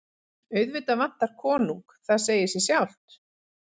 Auðvitað vantar konung, það segir sig sjálft.